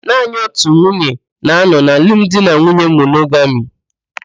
Naanị otu nwunye na-anọ na alụmdinanwuye monogami.